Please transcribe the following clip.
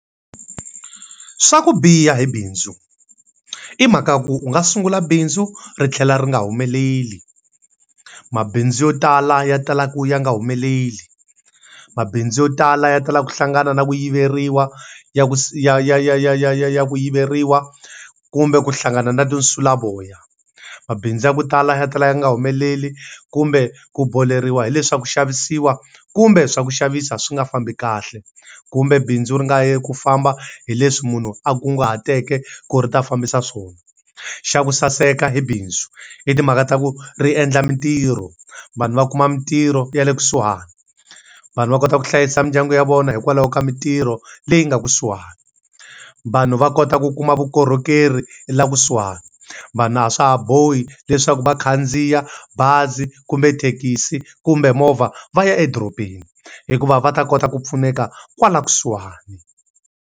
Swa ku biha hi bindzu, i mhaka ku u nga sungula bindzu ri tlhela ri nga humeleli. Mabindzu yo tala ya tala ku ya nga humeleli. Mabindzu yo tala ya tala ku hlangana na ku yiveriwa ya ku ya ya ya ya ya ku yiveriwa kumbe ku hlangana na tinsulavoya. Mabindzu ya ku tala ya tala ya nga humeleli kumbe ku boleriwa hi le swa ku xavisiwa, kumbe swa ku xavisa swi nga fambi kahle. Kumbe bindzu ri nga yi hi ku famba hi leswi munhu a kunguhateke ku ri ta fambisa swona. Xa ku saseka hi bindzu, i timhaka ta ku ri endla mintirho. Vanhu va kuma mintirho ya le kusuhani, vanhu va kota ku hlayisa mindyangu ya vona hikwalaho ka mintirho leyi nga kusuhani. Vanhu va kota ku kuma vukorhokeri hi laha kusuhani. Vanhu a swa ha bohi leswaku va khandziya bazi kumbe thekisi kumbe movha va ya edorobeni hikuva va ta kota ku pfuneka kwala kusuhani.